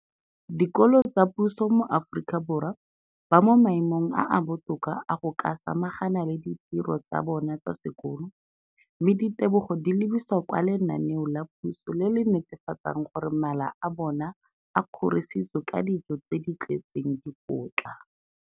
Dikolo tsa puso mo Aforika Borwa ba mo maemong a a botoka a go ka samagana le ditiro tsa bona tsa sekolo, mme ditebogo di lebisiwa kwa lenaaneng la puso le le netefatsang gore mala a bona a kgorisitswe ka dijo tse di tletseng dikotla.